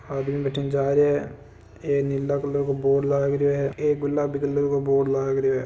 आदमी बठिणे जा रहा है एक नीले कलर को बोर्ड लाग रहो है एक गुलाबी कलर का बोर्ड लाग रहो है।